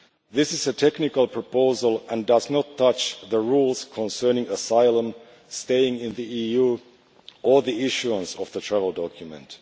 This is a technical proposal, and does not affect the rules concerning asylum, staying in the EU or the issuing of the travel document.